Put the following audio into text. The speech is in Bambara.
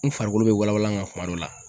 N farikolo be walawala n ka kuma dɔ la